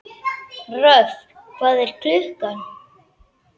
Röfn, hvað er klukkan?